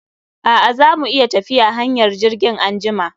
A'a, za mu iya tafiya hanyar jirgin anjima.